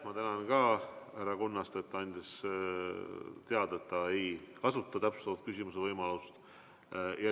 Ma tänan ka härra Kunnast, et ta andis teada, et ta ei kasuta täpsustava küsimuse võimalust.